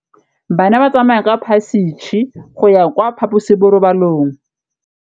Bana ba tsamaya ka phašitshe go ya kwa phaposiborobalong.